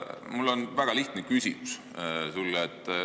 Mul on sulle väga lihtne küsimus.